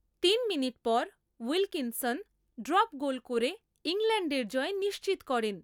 তিন মিনিট পর Wilkinson drop goal করে ইংল্যান্ডের জয় নিশ্চিত করেন।